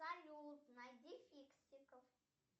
салют найди фиксиков